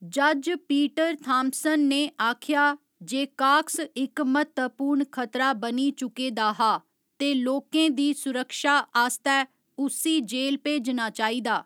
जज्ज Peter Thompson ने आखेआ जे काक्स इक म्हत्तवपूर्ण खतरा बनी चुके दा हा ते लोकें दी सुरक्षा आस्तै उस्सी जेल भेजना चाहिदा।